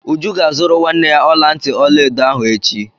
Uju ga-azụrụ nwanne ya ọla ntị ọla edo ahụ echi.